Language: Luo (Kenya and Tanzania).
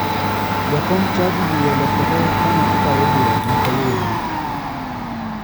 Jakom chadi wiye olokore kane otayo bura ma kawuono.